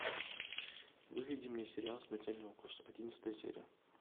выведи мне сериал смертельный укус одиннадцатая серия